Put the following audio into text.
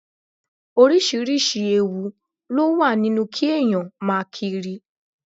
Oríṣiríṣi ewu ló wà nínú kí èèyàn máa kiri